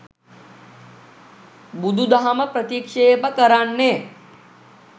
බුදුදහම ප්‍රතික්‍ෂේප කරන්නේ